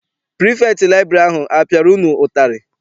Pirifektị liburary ahụ a piara unu ụtarị?